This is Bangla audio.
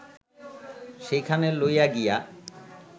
সেইখানে লইয়া গিয়া